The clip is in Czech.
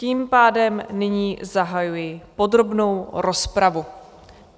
Tím pádem nyní zahajuji podrobnou rozpravu.